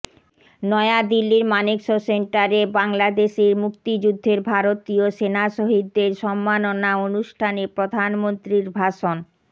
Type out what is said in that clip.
নয়াদিল্লীর মানেকশ সেন্টারে বাংলাদেশের মুক্তিযুদ্ধের ভারতীয় সেনা শহীদদের সম্মাননা অনুষ্ঠানে প্রধানমন্ত্রীর ভাষণ